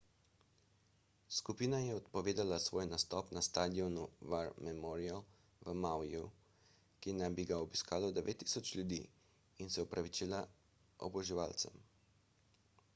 skupina je odpovedala svoj nastop na stadionu war memorial v mauiju ki naj bi ga obiskalo 9000 ljudi in se opravičila oboževalcem